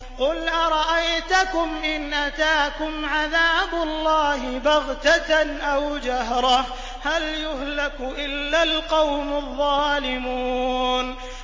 قُلْ أَرَأَيْتَكُمْ إِنْ أَتَاكُمْ عَذَابُ اللَّهِ بَغْتَةً أَوْ جَهْرَةً هَلْ يُهْلَكُ إِلَّا الْقَوْمُ الظَّالِمُونَ